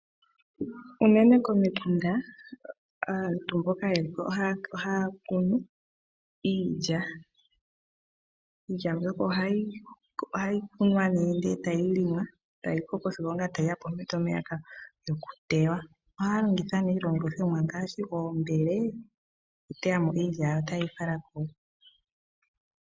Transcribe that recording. Unene komikunda aantu mboka yeliko ohaya kunu iilya, iilya mbyoka ohayi kunwa ne ndele tayi limwa tayi koko sigo tayiya pompito mpeyaka lyokutewa, ohaya longitha ne iilongithomwa ngaashi ombele okuteya mo iilya yawo eta yeyi fala ko.